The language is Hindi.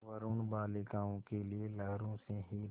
वरूण बालिकाओं के लिए लहरों से हीरे